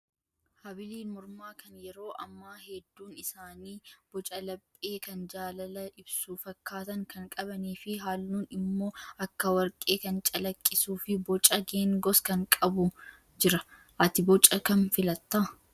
Habiliin mormaa kan yeroo ammaa hedduun isaanii boca lapphee kan jaalala ibsu fakkaatan kan qabanii fi halluun immoo akka warqee kan calaqqisuu fi boca geengoos kan qabu jira. Ati boca kam filattaa?